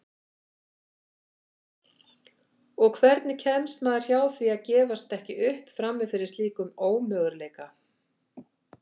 Og hvernig kemst maður hjá því að gefast ekki upp frammi fyrir slíkum ömurleika?